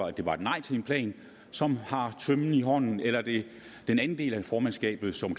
at det var et nej til en plan som har tømmen i hånden eller er det den anden del af formandskabet som